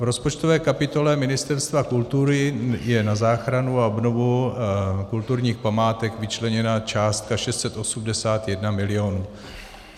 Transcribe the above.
V rozpočtové kapitole Ministerstva kultury je na záchranu a obnovu kulturních památek vyčleněna částka 681 mil.